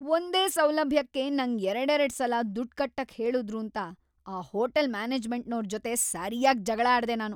ಒಂದೇ ಸೌಲಭ್ಯಕ್ಕೆ ನಂಗ್ ಎರಡೆರಡ್‌ ಸಲ ದುಡ್ಡ್‌ ಕಟ್ಟಕ್‌ ಹೇಳುದ್ರೂಂತ ಆ ಹೋಟೆಲ್ ಮ್ಯಾನೇಜ್ಮೆಂಟ್ನೋರ್‌ ಜೊತೆ ಸರ್ಯಾಗ್‌ ಜಗ್ಳಾಡ್ದೆ ನಾನು.